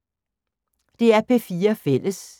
DR P4 Fælles